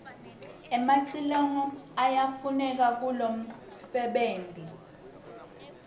emacilongo yayafuneka kulomfebenti